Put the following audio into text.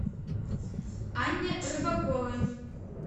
анне рыбаковой